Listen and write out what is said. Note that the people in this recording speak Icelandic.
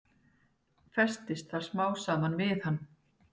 Festist það smám saman við hann.